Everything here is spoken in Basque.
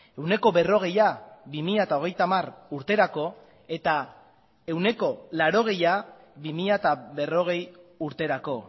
ehuneko berrogeia bi mila hogeita hamar urterako eta ehuneko laurogeia bi mila berrogei urterako